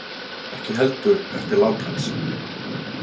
Ekki heldur eftir lát hans.